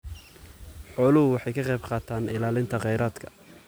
Xooluhu waxay ka qaybqaataan ilaalinta kheyraadka.